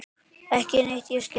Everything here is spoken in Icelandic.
Ekki neitt ég skil.